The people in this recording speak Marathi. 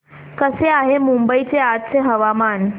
कसे आहे मुंबई चे आजचे हवामान